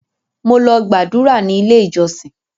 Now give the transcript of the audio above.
Mo lọ gbàdúrà ní ilé ìjọsìn.